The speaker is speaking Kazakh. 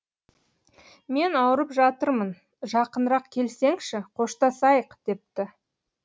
мен ауырып жатырмын жақынырақ келсеңші қоштасайық депті